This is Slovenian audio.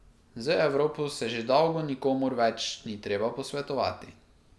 Z Evropo se že dolgo nikomur več ni treba posvetovati.